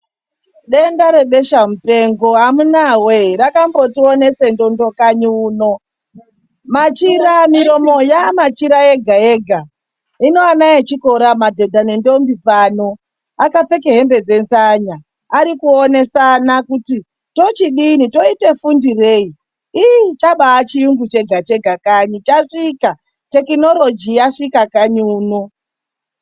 Denda rebesha mupengo amunaa wee rakambotionese ndondo kanyi uno machira miromo yamachira ega ega hino ana echikora madhonda nendombi pano akapfeke hembe dzenzanya echionesana kuti tochidini toitefundirei. Chambachiungu chega chega tekinoloji yasvika kanyi uno.